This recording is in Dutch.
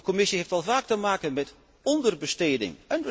De Commissie heeft al vaak te maken met onderbesteding.